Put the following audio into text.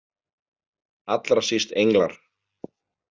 Allra síst englar.